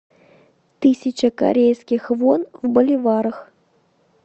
тысяча корейских вон в боливарах